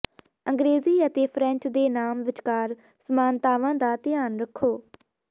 ਅੰਗ੍ਰੇਜ਼ੀ ਅਤੇ ਫ਼੍ਰੈਂਚ ਦੇ ਨਾਮ ਵਿਚਕਾਰ ਸਮਾਨਤਾਵਾਂ ਦਾ ਧਿਆਨ ਰੱਖੋ